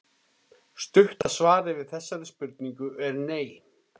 Stutta svarið við þessari spurningu er nei.